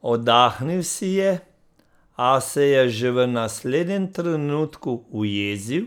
Oddahnil si je, a se je že v naslednjem trenutku ujezil,